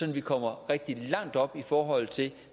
at vi kommer rigtig langt op i forhold til